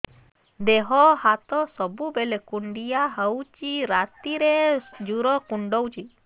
ଦେହ ହାତ ସବୁବେଳେ କୁଣ୍ଡିଆ ହଉଚି ରାତିରେ ଜୁର୍ କୁଣ୍ଡଉଚି